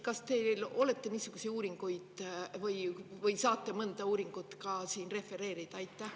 Kas te olete niisuguseid uuringuid ja kas te saate mõnda uuringut ka siin refereerida?